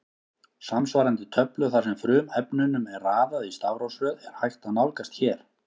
Samsvarandi töflu þar sem frumefnunum er raðað í stafrófsröð er hægt að nálgast hér.